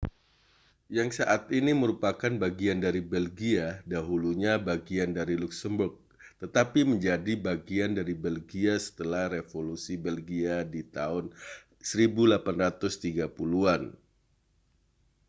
yang saat ini merupakan bagian dari belgia dahulunya bagian dari luksemburg tetapi menjadi bagian dari belgia setelah revolusi belgia di tahun 1830-an